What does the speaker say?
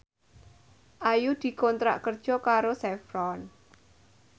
Ayu dikontrak kerja karo Chevron